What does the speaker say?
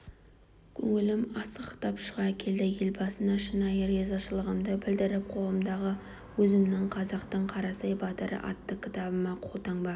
көңілім асқақтап шыға келді елбасына шынайы ризашылығымды білдіріп қолымдағы өзімнің қазақтың қарасай батыры атты кітабыма қолтаңба